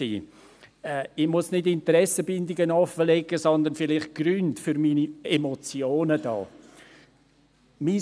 Ich muss keine Interessenbindungen offenlegen, sondern vielleicht die Gründe für meine Emotionen darlegen.